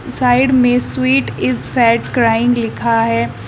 Side में sweet is fat crying लिखा है।